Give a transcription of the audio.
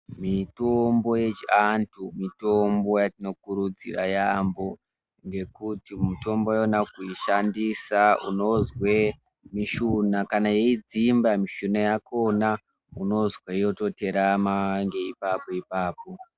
Mitombo yechiantu mitombo yatinokurudzira yaambo ngekuti mutombo yona kuishandisa unozwe mishuna, kana yeidzimba mishuna yakona unozwe yototerama ngeiipapo-ipapo.